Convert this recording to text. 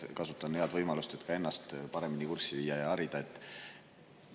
Kasutan head võimalust, et ka ennast paremini kurssi viia ja harida.